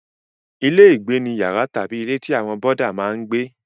Ilé-ìgbé ni yàrá tàbí ilé tí àwọn bọ́dà máa ń gbé.